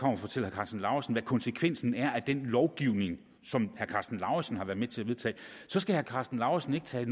karsten lauritzen hvad konsekvensen er af den lovgivning som herre karsten lauritzen har været med til at vedtage så skal herre karsten lauritzen ikke tage